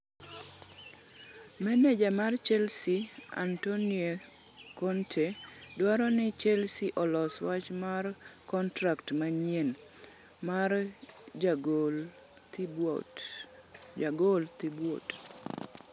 Meneja mar Chelsea Antonio Conte dwaro ni Chelsea olos wach mar kontrak manyien mar jagol Thibaut Courtois.